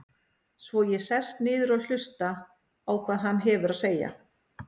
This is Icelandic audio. Svo ég sest niður og hlusta á hvað hann hefur að segja.